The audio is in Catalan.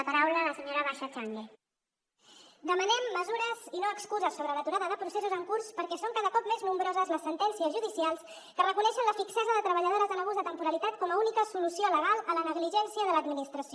demanem mesures i no excuses sobre l’aturada de processos en curs perquè són cada cop més nombroses les sentències judicials que reconeixen la fixesa de treballadores en abús de temporalitat com a única solució legal a la negligència de l’administració